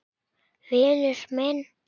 Vinur minn!